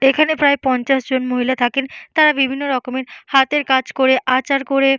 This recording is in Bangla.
তো এখানে প্রায় পঞ্চাশ জন মহিলা থাকেন তারা বিভিন্ন রকমের হাতের কাজ করে আঁচার করে--